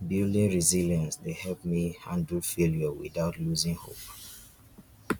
building resilience dey help me handle failure without losing hope